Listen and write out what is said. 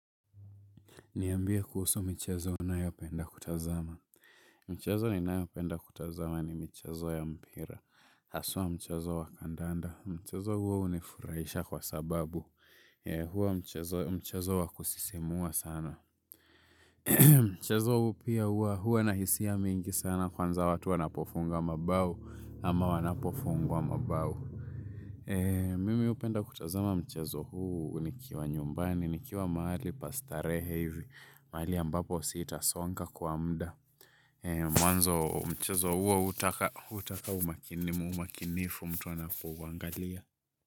Niambia kuhusu michezo unayopenda kutazama. Michezo ninayopenda kutazama ni michezo ya mpira. Haswa mchezo wa kandanda. Mchezo huo hunifurahisha kwa sababu. Hua mchezo wa kusisimua sana. Mchezo huu pia huwa. Huw anahisia mingi sana kwanza watu wanapofunga mabao ama wanapofungwa mabao. Mimi hupenda kutazama mchezo huu nikiwa nyumbani. Nikiwa mahali pastarehe hivi mahali ambapo sitasonga kwa muda. Mwanzo mchezo huo hutaka umakinifu mtu anapouangalia.